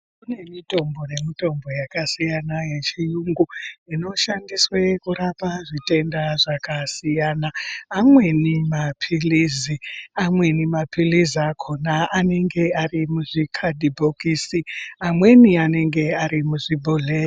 Kune mitimbo nemitombo yakasiyana yechiyungu inoshandiswa kurape zvitenda zvakasiyana . Amweni mapilizi, amweni mapilizi akhona anenge arimuzvi kadhibhokisi amweni anenge arimuzvibhodhleya.